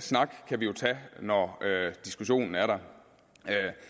snak kan vi jo tage når diskussionen er der